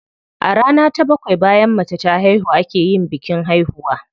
A rana ta bakwai bayan mace ta haihu a ke yin bikin haihuwa.